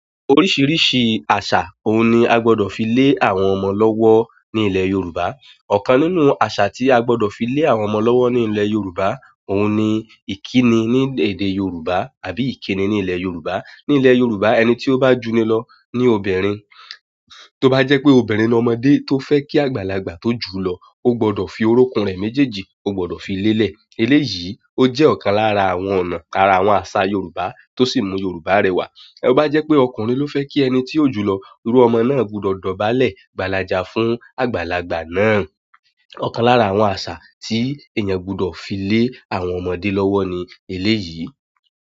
Oríṣìíríṣìí àṣà òun ni a gbọ́dọ̀ fi lé àwọn ọmọ lọ́wọ́ ní ilẹ̀ Yorùbá. Ọ̀kan nínú àṣà tí a gbọ́dọ̀ fi lé àwọn ọmọ lọ́wọ́ ní ilẹ̀ Yorùbá òun ni ìkíni ní èdè Yorùbá àbí ìkíni ní ilẹ̀ Yorùbá. Ní ilẹ̀ Yorùbá, ẹni tí ó bá juni lọ ní obìnrin, tó bá jẹ́ pé obìnrin ọmọdé tó fẹ́ kí àgbàlagbà tó jù lọ, ó gbọ́dọ̀ fi orókún rẹ̀ méjèèjì, ó gbọ́dọ̀ fi lélẹ̀. Eléyìí ó jẹ́ ọ̀kan lára àwọn ọ̀nà lára àwọn àṣà Yorùbá tó sì mú Yorùbá rẹwà. Bá jẹ́ pé ọkùnrin ló fẹ́ kí ẹni tí ó jù lọ rú ọmọ náà gbọ́dọ̀ dọ̀bálẹ̀ gbàlàjà fún àgbàlagbà náà. Ọ̀kan lára àwọn àṣà tí èèyàn gbọ́dọ̀ fi lé àwọn ọmọdé lọ́wọ́ ni eléyìí.